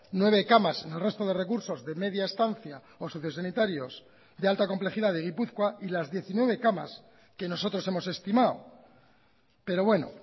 nueve camas en el resto de recursos de media estancia o sociosanitarios de alta complejidad de gipuzkoa y las diecinueve camas que nosotros hemos estimado pero bueno